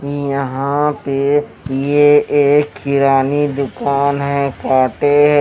यहां पे ये एक किरानी दुकान है कांटे--